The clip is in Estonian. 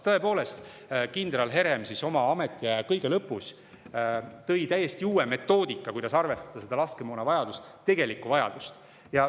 Tõepoolest, kindral Herem oma ametiaja päris lõpus lõi täiesti uue metoodika, kuidas arvestada seda tegelikku laskemoonavajadust.